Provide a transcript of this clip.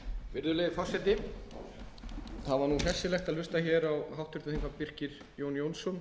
virðulegi forseti það var hressilegt að hlusta á háttvirtum þingmönnum birki jón jónsson